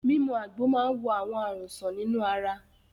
Mímu àgbo máa ń wo àwọn àrùn sàn nínú ara.